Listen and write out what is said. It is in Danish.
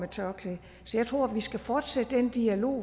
tørklæde så jeg tror at vi skal fortsætte den dialog